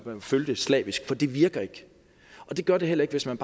fulgte slavisk for det virker ikke og det gør det heller ikke hvis man